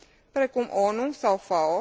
precum ONU sau FAO.